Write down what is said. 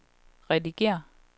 redigér